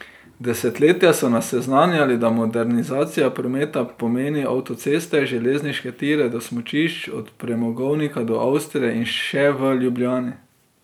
Desetletja so nas seznanjali, da modernizacija prometa pomeni avtoceste, železniške tire do smučišč, od premogovnika do Avstrije in še v Ljubljani.